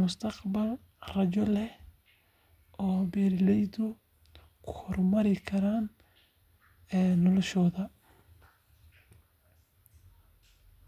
mustaqbal rajo leh oo beeraleydu ku horumari karaan noloshooda.